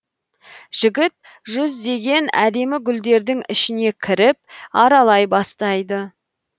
жігіт жүздеген әдемі гүлдердің ішіне кіріп аралай бастайды